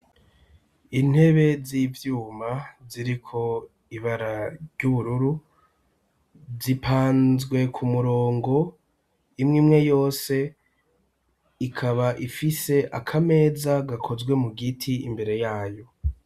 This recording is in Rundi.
Intebe z' ivyuma ziriko ibara ryubururu zipanzwe ku murongo imwe imwe yose ikaba ifise akameza gakozwe mu giti imbere yayo.